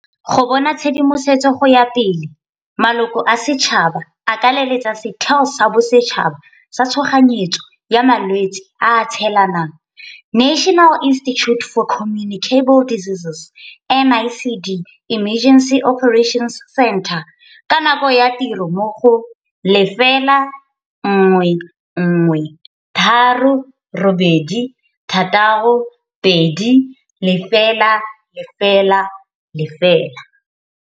Go bona tshedimosetso go ya pele, maloko a setšhaba a ka leletsa Setheo sa Bosetšhaba sa tshoganyetso sa Malwetse a a Tshelanang, National Institute For Communicable Diseases, NICD, Emergency Operations Centre, ka nako ya tiro mo go, 011 386 2000.